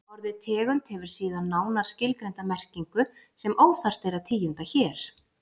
Orðið tegund hefur síðan nánar skilgreinda merkingu sem óþarft er að tíunda hér.